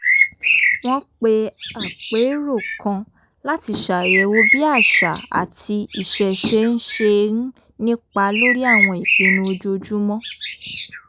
wọ́n pe àpérò kan láti ṣàyẹ̀wò bí àṣà àti ìṣẹ̀ṣe ṣe ń nípa lórí àwọn ìpinnu ojoojúmọ́